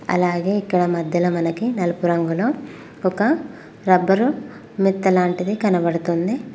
అలాగే ఇక్కడ మధ్యల మనకి నలుపు రంగులో ఒక రబ్బరు మెత్తలాంటిది కనబడుతుంది.